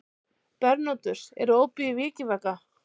Bernódus, er opið í Vikivaka?